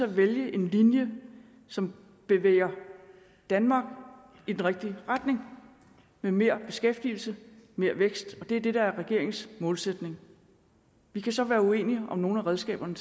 at vælge en linje som bevæger danmark i den rigtige retning med mere beskæftigelse og mere vækst det er det der er regeringens målsætning vi kan så være uenige om nogle af redskaberne